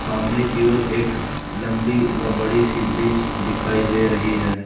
सामने की ओर एक लंबी व बड़ी सी ब्रिज दिखाई दे रही है।